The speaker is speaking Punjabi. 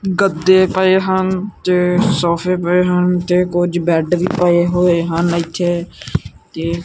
ਗੱਦੇ ਪਏ ਹਨ ਤੇ ਸੋਫੇ ਪਏ ਹਨ ਤੇ ਕੁਝ ਬੈਡ ਵੀ ਪਏ ਹੋਏ ਹਨ ਇਥੇ ਤੇ--